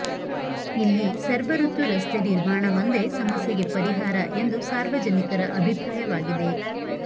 ಇಲ್ಲಿ ಸರ್ವಋತು ರಸ್ತೆ ನಿರ್ಮಾಣವೊಂದೆ ಸಮಸ್ಯೆಗೆ ಪರಿಹಾರ ಎಂದು ಸಾರ್ವಜನಿಕರ ಅಭಿಪ್ರಾಯವಾಗಿದೆ